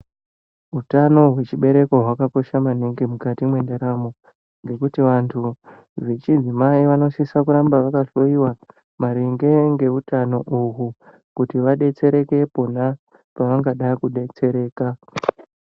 Utano hwechibereko hwakakosha maningi mukati mwendaramo ngekuti vantu vechidzimai vanosise kuramba vakahloiwa maringe ngeutano uhu kuti vadetsereke pona pavangada kudetsereka.